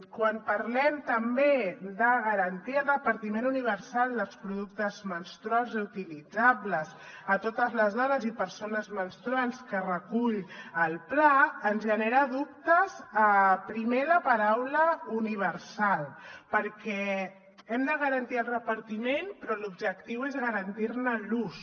quan parlem també de garantir el repartiment universal dels productes menstruals reutilitzables a totes les dones i persones menstruants que recull el pla ens genera dubtes primer la paraula universal perquè hem de garantir el repartiment però l’objectiu és garantir ne l’ús